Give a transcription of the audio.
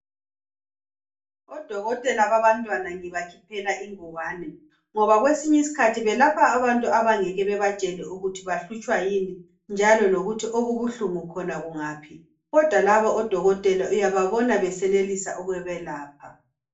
Odokotela babantwana ngibakhiphela ingwane .Ngoba kwesinye iskhathi belapha abantu abangeke bebatshele bahlutshwa yini . Njalo lokuthi okubuhlungu khona kungaphi .Kodwa laba odokotela uyababona besenelisa ukubelapha .